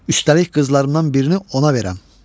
Üstəlik qızlarımdan birini ona verəm.